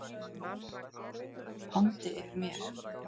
andi yfir mér.